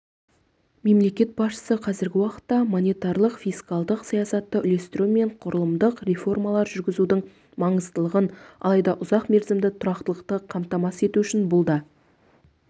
мемлекет басшысықазіргі уақытта монетарлық фискалдық саясатты үйлестіру мен құрылымдық реформалар жүргізудің маңыздылығын алайда ұзақ мерзімді тұрақтылықты қамтамасыз ету үшін бұл да